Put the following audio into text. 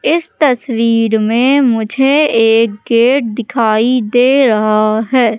इस तस्वीर में मुझे एक गेट दिखाई दे रहा है।